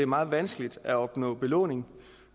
meget vanskeligt at opnå belåning